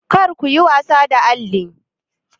Kar ku yi wasa da alli!